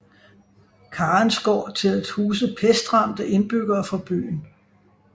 Karensgård til at huse pestramte indbyggere fra byen